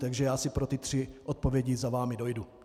Takže já si pro ty tři odpovědi za vámi dojdu.